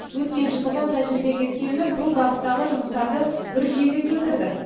өткен жылдығы тәжірибеге сүйеніп бұл бағыттағы жұмыстарды бір жүйеге келтірдік